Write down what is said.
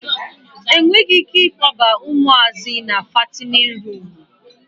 A nweghi ike ịkpọba ụmụazị na fatinin ruumụ.